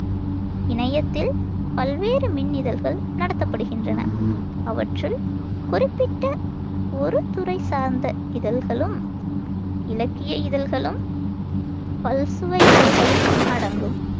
இணையத்தில் பல்வேறு மின் இதழ்கள் நடத்தப்படுகின்றன. அவற்றுள் குறிப்பிட்ட ஒரு துறைசார்ந்த இதழ்களும், இலக்கிய இதழ்களும் பல்சுவை இதழ்களும் அடங்கும்.